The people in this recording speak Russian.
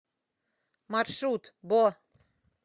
маршрут бо